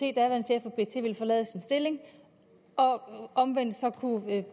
at ville forlade sin stilling og omvendt så kunne